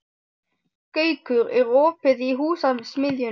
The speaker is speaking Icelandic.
Gaukur, er opið í Húsasmiðjunni?